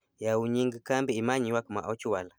yawu nying kambi imany' ywak ma ochwal